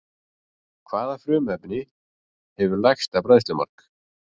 Hvaða frumefni hefur lægsta bræðslumark?